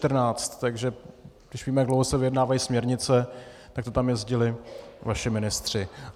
Takže když víme, jak dlouho se vyjednávají směrnice, tak to tam jezdili vaši ministři.